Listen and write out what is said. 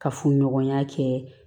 Ka funɲɔgɔnya kɛ